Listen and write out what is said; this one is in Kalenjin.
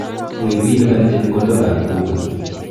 Wiy bi lipan chepkondokab bukuit.